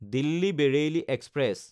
Delhi Bareilly express